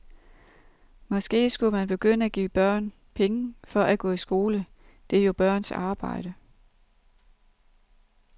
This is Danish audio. Måske skulle man begynde at give børn penge for at gå i skole, det er jo børns arbejde.